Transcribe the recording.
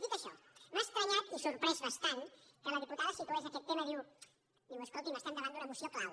dit això m’ha estranyat i sorprès bastant que la di·putada situés aquest tema diu escolti’m estem da·vant d’una moció clau